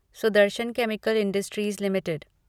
Sudarshan chemical industries limited